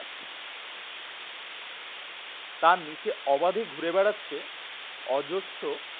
তার নিচে অবাধে ঘুরে বেড়াচ্ছে অজস্র